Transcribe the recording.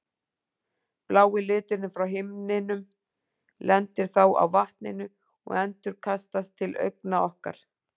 Blái liturinn frá himninum lendir þá á vatninu og endurkastast til augna okkar.